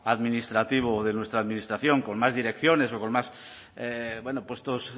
administrativo de nuestra administración con más direcciones o con más bueno puestos